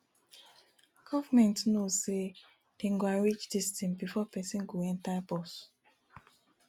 government no know say dey go arrange dis thing before person go enter bus